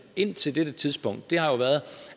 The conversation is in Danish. indtil dette tidspunkt har været